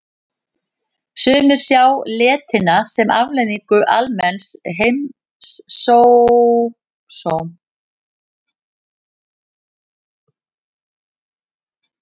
Sumir sjá letina sem afleiðingu almenns heimsósóma, lausungar og agaleysis í þjóðfélaginu.